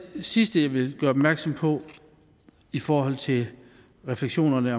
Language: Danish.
sidste jeg vil gøre opmærksom på i forhold til refleksionerne